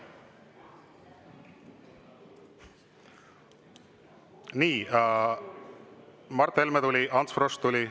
Nii, Mart Helme tuli ja Ants Frosch tuli.